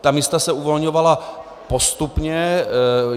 Ta místa se uvolňovala postupně.